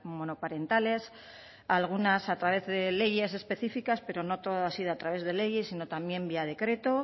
monoparentales algunas a través de leyes específicas pero no todo ha sido a través de leyes sino también vía decreto